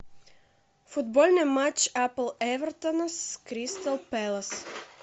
футбольный матч апл эвертона с кристал пэлас